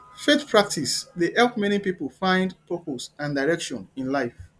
faith practices dey help many pipo find purpose and direction in life